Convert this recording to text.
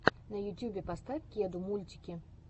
на ютьюбе поставь кеду мультики